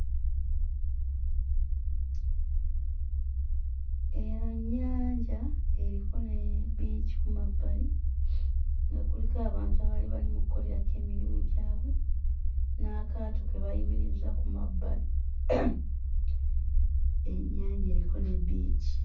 Eno nnyanja eriko ne bbiici ku mabbali, nga kuliko abantu abaali bali mu kukolerako emirimu gaabwe, n'akaato ke bayimirizza ku mabbali. Ennyanja eriko ne bbiici.